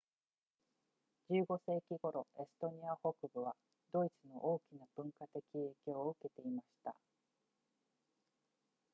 15世紀頃エストニア北部はドイツの大きな文化的影響を受けていました